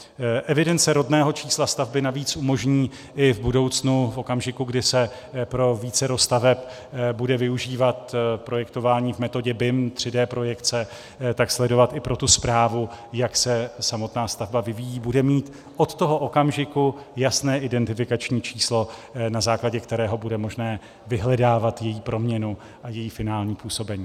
Evidence rodného čísla stavby navíc umožní i v budoucnu v okamžiku, kdy se pro vícero staveb bude využívat projektování v metodě BIM 3D projekce, sledovat i pro tu správu, jak se samotná stavba vyvíjí, bude mít od toho okamžiku jasné identifikační číslo, na základě kterého bude možné vyhledávat její proměnu a její finální působení.